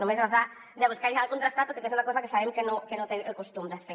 només les ha de buscar les ha de contrastar tot i que és una cosa que sabem que no té el costum de fer